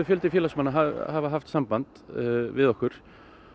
fjöldi félagsmanna hefur haft samband við okkur